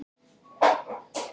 Sástu þegar hún gerði þetta?